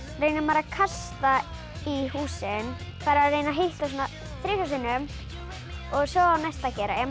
reynir maður að kasta í húsin reyna að hitta þrisvar sinnum og svo á næsti að gera ef maður